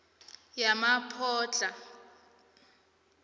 yemaphodlha